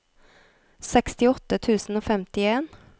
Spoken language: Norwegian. sekstiåtte tusen og femtien